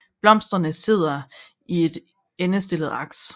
Blomsterne sidder i et endestillet aks